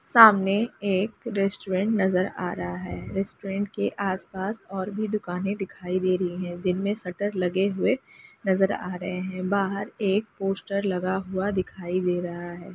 सामने एक रेस्टोरेंट नजर आ रहा है रेस्टोरेंट के आसपास और भी दुकाने दिखाई दे रही है जिनमें शटर लगे हुए नजर आ रहे है बाहर एक पोस्टर लगा हुआ दिखाई दे रहा है।